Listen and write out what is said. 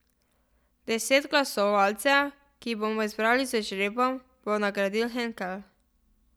Deset glasovalcev, ki jih bomo izbrali z žrebom, bo nagradil Henkel.